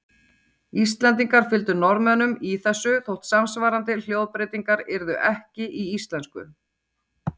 Íslendingar fylgdu Norðmönnum í þessu þótt samsvarandi hljóðbreytingar yrðu ekki í íslensku.